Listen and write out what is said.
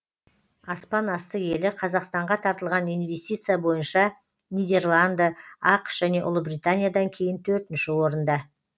аспан асты елі қазақстанға тартылған инвестиция бойынша нидерланды ақш және ұлыбританиядан кейін төртінші орында